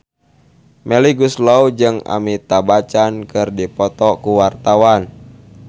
Melly Goeslaw jeung Amitabh Bachchan keur dipoto ku wartawan